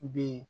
B